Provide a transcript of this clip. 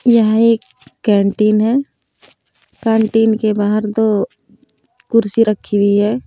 यह एक कैंटीन है कैंटीन के बाहर दो कुर्सी रखी हुई है।